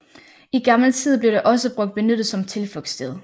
I gammel tid blev det også brugt benyttet som tilflugtssted